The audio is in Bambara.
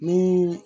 Ni